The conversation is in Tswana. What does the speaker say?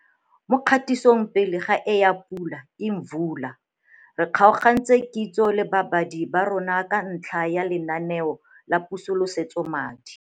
Mo kgatisong pele ga e ya Pula Imvula, re kgaogantse kitso le babadi ba rona ka ntlha ya lenaneo la puseletsomadi.